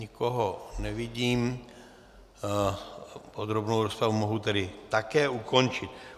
Nikoho nevidím, podrobnou rozpravu mohu tedy také ukončit.